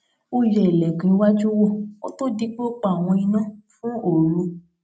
ó yẹ ìlèkùn iwájú wò kó tó di pé ó pa àwọn iná fún òru